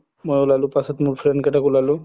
মই উলালো পাছত মোৰ friend কেইতাক উলালো